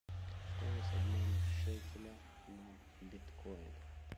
стоимость обмена шекеля на биткоин